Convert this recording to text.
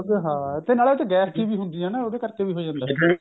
ਹਾਂ ਤੇ ਨਾਲੇ ਉਸ ਚ ਗੈਸ ਜੀ ਵੀ ਹੁੰਦੀ ਹੈ ਉਹਦੇ ਕਰਕੇ ਵੀ ਹੋ ਜਾਂਦਾ ਇਹ